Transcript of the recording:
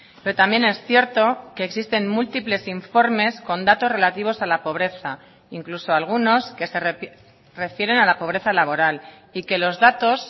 pero también es cierto que existen múltiples informes con datos relativos a la pobreza incluso algunos que se refieren a la pobreza laboral y que los datos